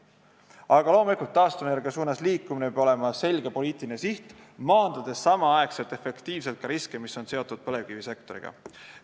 Aga loomulikult, taastuvenergia suunas liikumine peab olema selge poliitiline siht, maandades samal ajal efektiivselt riske, mis on seotud põlevkivisektoriga.